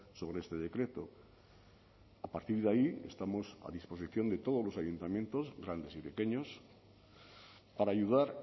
sobre este decreto a partir de ahí estamos a disposición de todos los ayuntamientos grandes y pequeños para ayudar